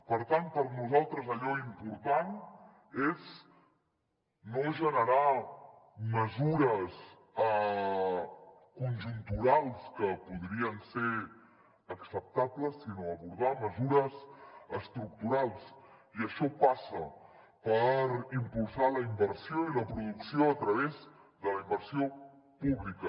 per tant per nosaltres allò important és no generar mesures conjunturals que podrien ser acceptables sinó abordar mesures estructurals i això passa per impulsar la inversió i la producció a través de la inversió pública